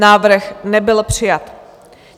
Návrh nebyl přijat.